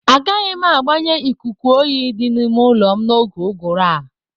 Agaghị m agbanye ikuku oyi di n'ime ụlọ m n'oge uguru a.